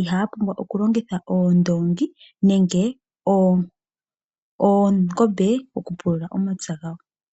ihaya pumbwa okulongitha oondoongi nenge oongombe okupulula omapya gawo.